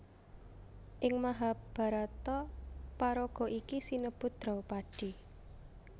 Ing Mahabharata paraga iki sinebut Draupadi